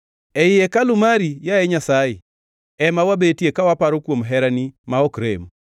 Ei hekalu mari, yaye Nyasaye, ema wabetie ka waparo kuom herani ma ok rem.